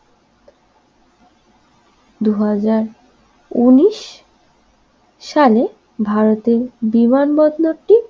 দুই হাজার উনিশ সালে ভারতের বিমানবন্দরটি